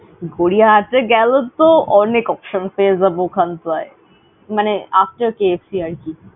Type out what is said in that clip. গড়িয়াহাটে গেলে তো অনেক option পেয়ে যাবো ওখানটায়। মানে after KFC আর কি।